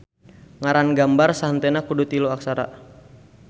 Ngaran gambar sahenteuna kudu tilu aksara.